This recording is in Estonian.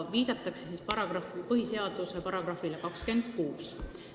Viidatakse põhiseaduse §-le 26.